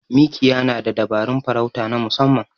Mikiya na da dabarun farauta na musamman.